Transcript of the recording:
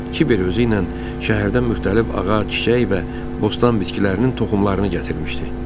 Kiber özü ilə şəhərdən müxtəlif ağac, çiçək və bostan bitkilərinin toxumlarını gətirmişdi.